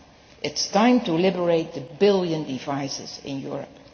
It is time to liberate the billion devices in Europe.